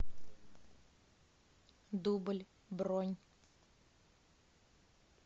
дубль бронь